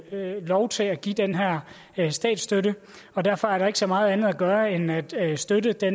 lov til at give den her statsstøtte og derfor er der ikke så meget andet at gøre end at at støtte det